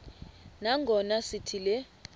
nangona sithi le